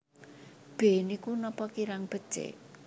B Niku napa kirang becik